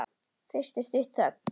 Fyrst er stutt þögn.